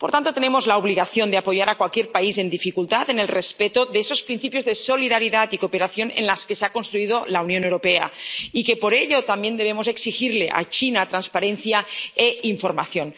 Por tanto, tenemos la obligación de apoyar a cualquier país en dificultad, en el respeto de esos principios de solidaridad y cooperación en los que se ha construido la Unión Europea, y, por ello, también debemos exigirle a China transparencia e información.